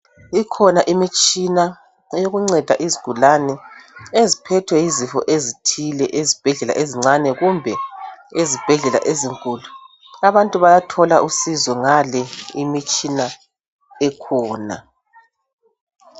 Ikhona imitshina eyokunceda izigulani eziphethwe yizifo ezithile ezibhedlela ezincane kumbe ezibhedlela ezinkulu abantu bayathola usizo ngale imitshina ekhona.